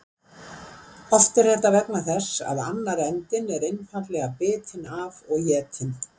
Oft er þetta vegna þess að annar endinn er einfaldlega bitinn af og étinn.